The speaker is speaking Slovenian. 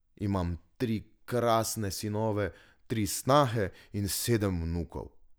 Imam tri krasne sinove, tri snahe in sedem vnukov.